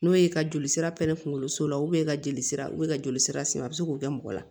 N'o ye ka joli sira pɛrɛn kunkoloso la ka jolisira u bɛ ka joli sira sen a bɛ se k'o kɛ mɔgɔ la